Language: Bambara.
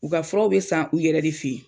U ka furaw be san u yɛrɛ de fe ye.